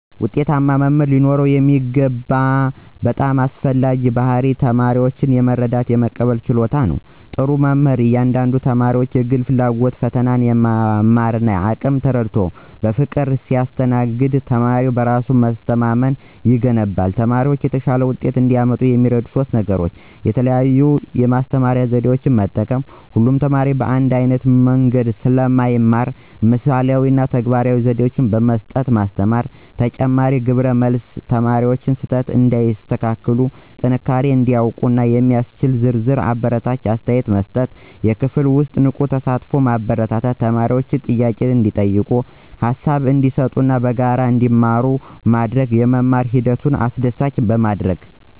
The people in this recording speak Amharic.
ውጤታማ መምህር ሊኖረው የሚገባው በጣም አስፈላጊው ባሕርይ ተማሪውን የመረዳትና የመቀበል ችሎታ ነው። ጥሩ መምህር የእያንዳንዱን ተማሪ የግል ፍላጎት፣ ፈተናና የመማር አቅም ተረድቶ በፍቅር ሲያስተናግድ ተማሪው በራስ መተማመን ይገነባል። ተማሪዎች የተሻለ ውጤት እንዲያመጡ የሚረዱ ሦስት የተለዩ ዘዴዎች፦ 1. የተለያየ የማስተማሪያ ዘዴ መጠቀም: ሁሉም ተማሪ በአንድ ዓይነት መንገድ ስለማይማር ምስላዊ እና ተግባራዊ ዘዴዎችን በማጣመር ማስተማር። 2. ተጨባጭ ግብረመልስ መስጠት: ተማሪው ስህተቱን እንዲያስተካክልና ጥንካሬውን እንዲያውቅ የሚያስችል ዝርዝርና አበረታች አስተያየት መስጠት። 3. የክፍል ውስጥ ንቁ ተሳትፎን ማበረታታት: ተማሪዎች ጥያቄ እንዲጠይቁ፣ ሃሳብ እንዲሰጡና በጋራ እንዲማሩ በማድረግ የመማር ሂደቱን አስደሳች ማድረግ።